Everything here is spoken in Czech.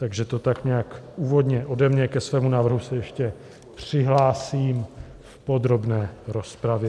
Tak to tak nějak úvodem ode mě, ke svému návrhu se ještě přihlásím v podrobné rozpravě.